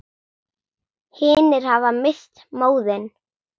Hinir hafa misst móðinn.